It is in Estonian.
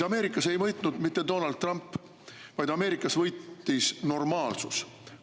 Ameerikas ei võitnud mitte Donald Trump, vaid Ameerikas võitis normaalsus.